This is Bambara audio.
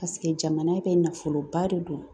Paseke jamana bɛ nafoloba de don